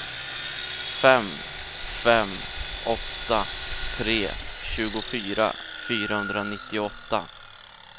fem fem åtta tre tjugofyra fyrahundranittioåtta